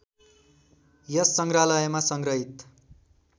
यस सङ्ग्रहालयमा सङ्ग्रहित